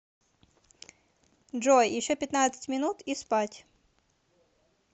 джой еще пятнадцать минут и спать